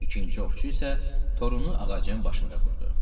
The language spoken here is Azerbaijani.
İkinci ovçu isə torunu ağacın başında qurdu.